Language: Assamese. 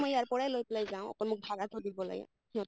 মই ইয়াৰ পৰাই লৈ পেলাই যাওঁ অকল মোক ভাড়াটো দিব লাগে সিহঁ